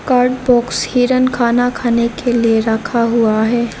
Box हिरन खाना खाने के लिए रखा हुआ है।